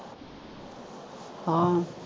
ਹਾਂ